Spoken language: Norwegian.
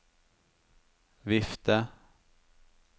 vifte